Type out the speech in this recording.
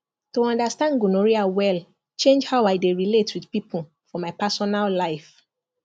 to understand gonorrhea well change how i dey relate with people for my personal life